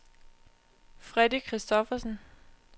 Freddy Christophersen